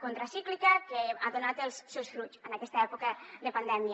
contracíclica que ha donat els seus fruits en aquesta època de pandèmia